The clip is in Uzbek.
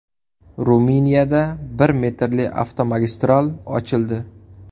Ruminiyada bir metrli avtomagistral ochildi.